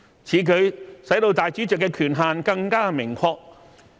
此舉使主席的權限更為明確。